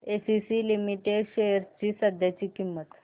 ACC limited shares ची सध्याची किंमत